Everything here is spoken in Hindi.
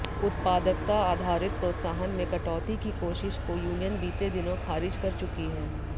उत्पादकता आधारित प्रोत्साहन में कटौती की कोशिश को यूनियन बीते दिनों खारिज कर चुकी है